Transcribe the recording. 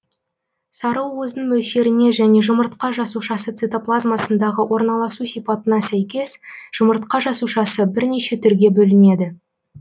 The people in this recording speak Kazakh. сарыуыздың мөлшеріне және жұмыртқа жасушасы цитоплазмасындағы орналасу сипатына сөйкес жұмыртқа жасушасы бірнеше түрге бөлінеді